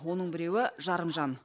оның біреуі жарымжан